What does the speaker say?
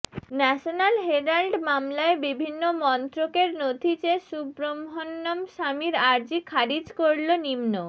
national herald মামলায় বিভিন্ন মন্ত্রকের নথি চেয়ে সুব্রহ্মণ্যম স্বামীর আর্জি খারিজ করল নিম্ন